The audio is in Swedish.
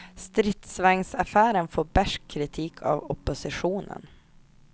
Stridsvagnsaffären får besk kritik av oppositionen.